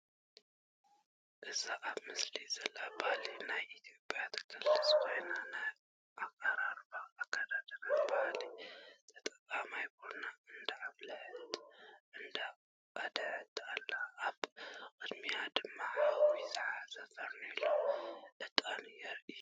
እዛ ኣብ ምስሊ ዘላ ባህሊ ናይ ኢትዮጵያ ትገልጽ ኮይና ናይ ኣቀራርባን ኣከዳድናን ባህሊ ተጠቒማ ቡና እንዳ ኣፍለሐትን እንዳ ቀድሐት ኣላ። ኣብ ቅድሚኣ ድማ ሓዊ ዝሓዘ ፈርኒየሎን ዕጣንን የርእይ።